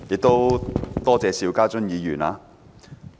主席，多謝邵家臻議員。